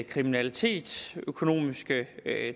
kriminalitet økonomiske